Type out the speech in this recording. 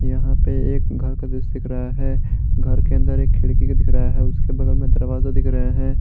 यहां पर एक घर का दृश्य दिख रहा है घर के अंदर एक खिड़की का दिख रहा है उसके बगल में दरवाजा दिख रहा है।